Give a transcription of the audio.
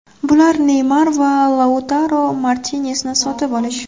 Bular – Neymar va Lautaro Martinesni sotib olish.